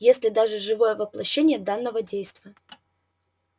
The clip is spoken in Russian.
если даже живое воплощение данного действа